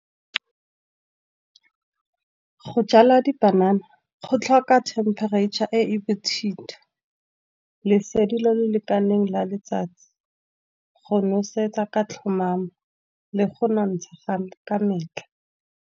Go jala dipanana go tlhoka temperature e e bothito, lesedi le le lekaneng la letsatsi, go nosetsa ka tlhomamo, le go nontsha ga ka metlha.